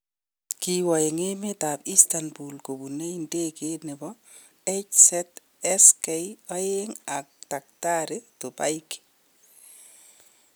Kiwo en emet ab Instanbul kobune ndegeit nebo HZSK2 ak taktari Tubaigy.